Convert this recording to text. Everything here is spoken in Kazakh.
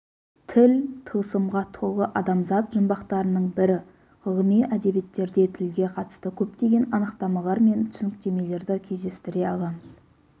тіл тылсымға толы адамзат жұмбақтарының бірі ғылыми әдебиеттерде тілге қатысты көптеген анықтамалар мен түсініктемелерді кездестіре аламыз